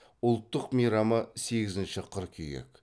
ұлттық мейрамы сегізінші қыркүйек